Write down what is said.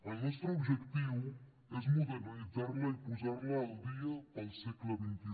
el nostre objectiu és modernitzar la i posar la al dia per al segle xxi